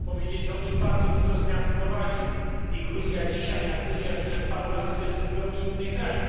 Chcę powiedzieć, że on już bardzo dużo zmian wprowadził i Gruzja dzisiaj a Gruzja sprzed paru lat to jest zupełnie inny kraj.